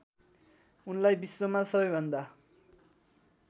उनलाई विश्वमा सबैभन्दा